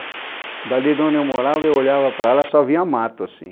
Dali de onde eu morava, eu olhava para lá, só via mato assim.